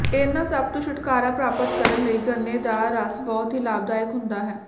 ਇਨ੍ਹਾਂ ਸੱਭ ਤੋਂ ਛੁਟਕਾਰਾ ਪ੍ਰਾਪਤ ਕਰਨ ਲਈ ਗੰਨੇ ਦਾ ਰਸ ਬਹੁਤ ਹੀ ਲਾਭਦਾਇਕ ਹੁੰਦਾ ਹੈ